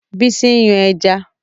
Bísí ń yan ẹja.